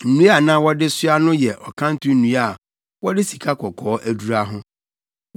Nnua a na wɔde soa no yɛ ɔkanto nnua a wɔde sikakɔkɔɔ adura ho.